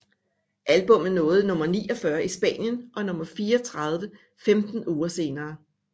Albummet nåede nummer 49 i Spanien og nummer 34 femten uger senere